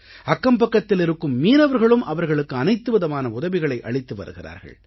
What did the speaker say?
அக்கம்பக்கத்தில் இருக்கும் மீனவர்களும் அவர்களுக்கு அனைத்துவிதமான உதவிகளை அளித்து வருகிறார்கள்